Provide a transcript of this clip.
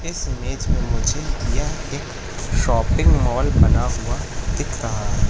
इस इमेज में मुझे यह एक शॉपिंग मॉल बना हुआ दिख रहा--